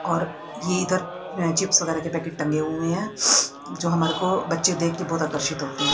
और ये इधर चिप्स वगेरा के पैकेट टांगे हुए है जो हमारे को बच्चे देख के बहोत आकर्षित होते हैं।